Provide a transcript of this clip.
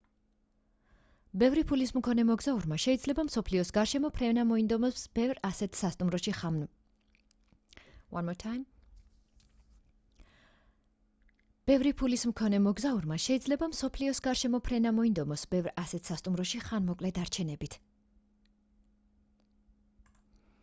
ბევრი ფულის მქონე მოგზაურმა შეიძლება მსოფლიოს გარშემო ფრენა მოინდომოს ბევრ ასეთ სასტუმროში ხანმოკლე დარჩენებით